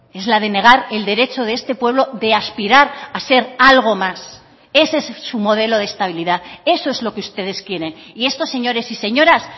es la de negar el derecho de este pueblo de aspirar a ser algo más ese es su modelo de estabilidad eso es lo que ustedes quieren y estos señores y señoras